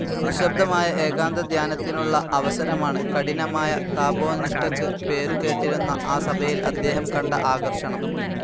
നിശ്ശബ്ദമായ ഏകാന്തധ്യാനത്തിനുള്ള അവസരമാണ്, കഠിനമായ തപോനിഷ്ടക്ക് പേരുകേട്ടിരുന്ന ആ സഭയിൽ അദ്ദേഹം കണ്ട ആകർഷണം.